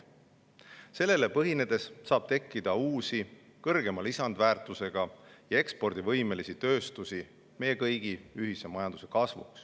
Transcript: Sellele põhinedes saab tekkida uusi kõrgema lisandväärtusega ja ekspordivõimelisi tööstusi, meie kõigi ühise majanduse kasvu.